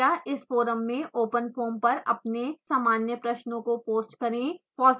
कृपया इस फोरम में openfoam पर अपने सामान्य प्रश्नों को पोस्ट करें